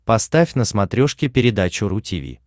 поставь на смотрешке передачу ру ти ви